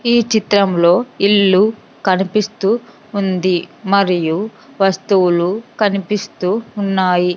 ఈ చిత్రంలో ఇల్లు కనిపిస్తూ ఉంది మరియు వస్తువులు కనిపిస్తూ ఉన్నాయి.